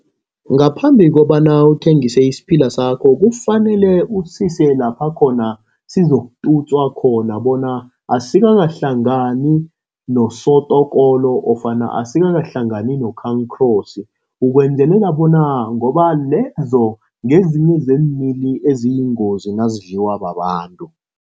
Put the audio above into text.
Ngaphambi kobana uthengise isiphila sakho, kufanele usise lapha khona sizokututswa khona bona asikakahlangani nosotokolo nofana asikakahlangani nokhankhrosi. Ukwenzelela bona ngoba lezo ngezinye zeemili eziyingozi nazidliwa babantu.